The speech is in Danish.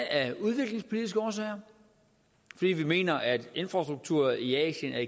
af udviklingspolitiske årsager fordi vi mener at infrastruktur i asien er